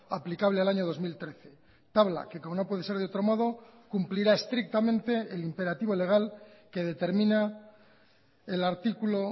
aplicable al año dos mil trece tabla que como no puede ser de otro modo cumplirá estrictamente el imperativo legal que determina el artículo